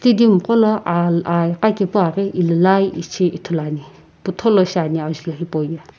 qono al aa iqa kepu aa ghi illelai ishi ithuluani putholo shi ani ajulhou hipau ye.